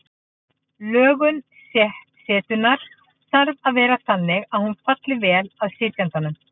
Lögun setunnar þarf að vera þannig að hún falli vel að sitjandanum.